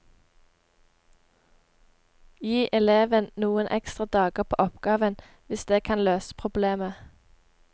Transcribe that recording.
Gi eleven noen ekstra dager på oppgaven hvis det kan løse problemet.